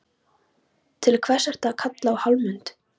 Til hvers ertu að kalla á Hallmund?